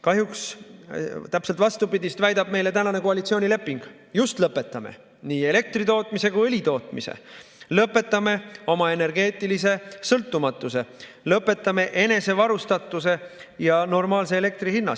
Kahjuks väidab tänane koalitsioonileping täpselt vastupidist: just lõpetame, nii elektritootmise kui ka õlitootmise, lõpetame oma energeetilise sõltumatuse, lõpetame enesevarustatuse ja elektri normaalse hinna.